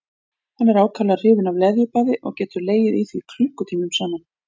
Hann er ákaflega hrifinn af leðjubaði og getur legið í því klukkutímum saman.